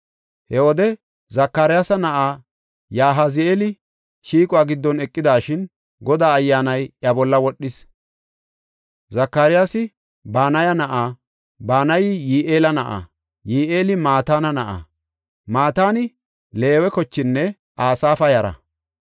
He wode Zakariyasa na7ay Yahazi7eeli shiiquwa giddon eqidashin Godaa Ayyaanay iya bolla wodhis. Zakariyasi Banaya na7a; Banayi Yi7eela na7a; Yi7eeli Mataana na7a; Mataani Leewe kochenne Asaafa yara.